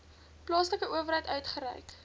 plaaslike owerheid uitgereik